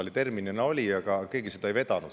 Ta terminina oli, aga keegi seda ei vedanud.